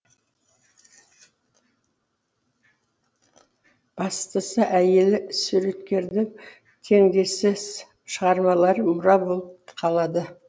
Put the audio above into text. бастысы әйелі суреткердің теңдессіз шығармалары мұра болып қалады